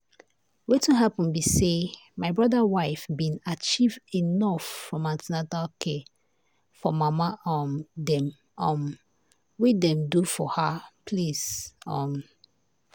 wetin happen be say my brother wife been achieve enough from the an ten atal care for mama um dem um wey dem do for her place. um